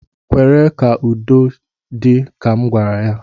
Kwere ka udo dị, ka m gwara ya